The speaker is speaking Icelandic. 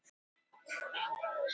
Heiðar enn frá vegna meiðsla